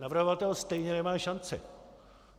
Navrhovatel stejně nemá šanci.